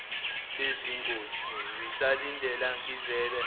bengizothi ngisalindeni ngivele